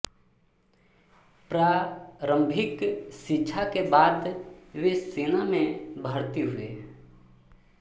प्रारंभिक शिक्षा के बाद वे सेना में भर्ती हुए